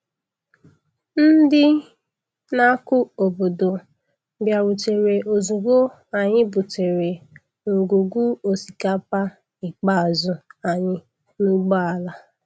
Ndị na-akụ obodo bịarutere ozugbo anyị butere ngwugwu osikapa ikpeazụ anyị n'ụgbọala.